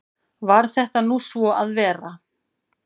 Varð þetta nú svo að vera.